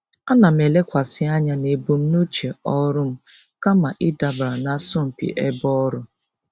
Ana m elekwasị anya na ebumnuche ọrụ m kama ịdabara n'asọmpi ebe ọrụ.